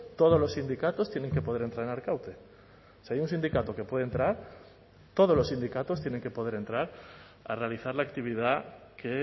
todos los sindicatos tienen que poder entrar en arkaute si hay un sindicato que puede entrar todos los sindicatos tienen que poder entrar a realizar la actividad que